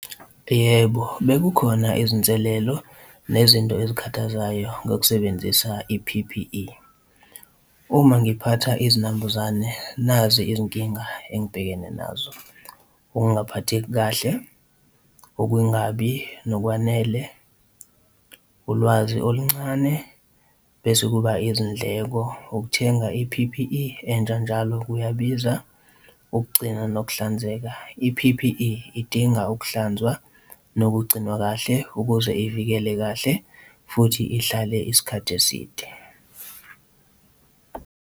Yebo, bekukhona izinselelo nezinto ezikhathazayo ngokusebenzisa i-P_P_E. Uma ngiphatha izinambuzane, nazi izinkinga engibhekene nazo, ukungaphatheki kahle, ukungabi nokwanele, ulwazi oluncane, bese kuba izindleko, ukuthenga i-P_P_E entsha, njalo kuyabiza ukugcina nokuhlanzeka. I-P_P_E idinga ukuhlanzwa nokugcinwa kahle ukuze ivikele kahle futhi ihlale isikhathi eside.